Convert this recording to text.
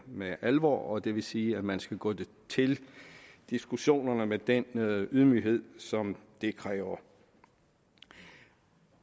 med alvor og det vil sige at man skal gå til diskussionerne med den ydmyghed som det kræver